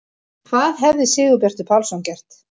Hvað hefði Sigurbjartur Pálsson gert?